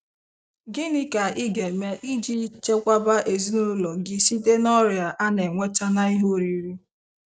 Gịnị ka ị ga-eme iji chekwaba ezinụlọ gị site n'ọrịa ana enweta ná ihe oriri?